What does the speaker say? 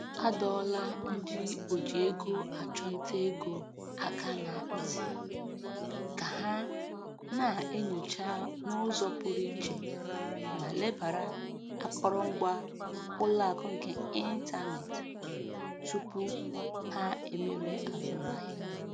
Adọọla ndị oji ego achụ nta ego aka ná ntị ka ha na-enyocha n'ụzọ pụrụ iche ma lebara akọrọngwa ụlọakụ nke ịntanetị tupu ha emere azụmahịa.